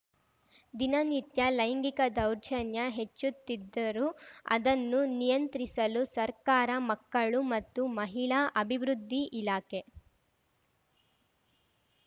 ದಿನನಿತ್ಯ ಲೈಂಗಿಕ ದೌರ್ಜನ್ಯ ಹೆಚ್ಚುತ್ತಿದ್ದರೂ ಅದನ್ನು ನಿಯಂತ್ರಿಸಲು ಸರ್ಕಾರ ಮಕ್ಕಳು ಮತ್ತು ಮಹಿಳಾ ಅಭಿವೃದ್ಧಿ ಇಲಾಖೆ